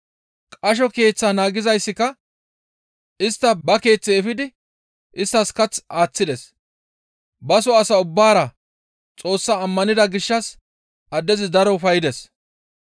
Qasho keeththaa naagizayssika istta ba keeththe efidi isttas kath aaththides; baso asaa ubbaara Xoossaa ammanida gishshas addezi daro ufayides.